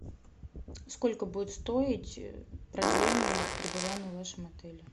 сколько будет стоить продление пребывания в вашем отеле